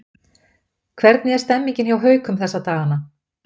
Hvernig er stemningin hjá Haukum þessa dagana?